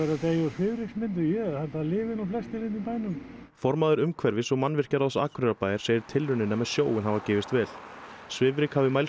að deyja úr svifryksmengun ég held það lifi nú flestir hérna í bænum formaður umhverfis og Akureyrarbæjar segir tilraunina með sjóinn hafa gefist vel svifryk hafi mælst